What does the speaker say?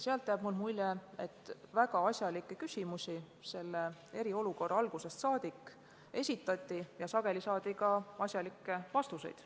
Neist materjalidest jääb mulje, et eriolukorra algusest saadik esitati väga asjalikke küsimusi ja sageli saadi ka asjalikke vastuseid.